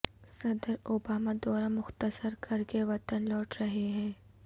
صدر اوباما دورہ مختصر کر کے وطن لوٹ رہے ہیں